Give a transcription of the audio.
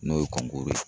N'o ye kɔnkɔro ye